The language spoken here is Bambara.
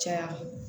Caya